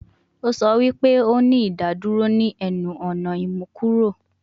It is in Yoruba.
O sọ wi pe o ni idaduro ni ẹnu-ọna imukuro